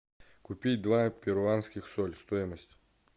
купить два перуанских соль стоимость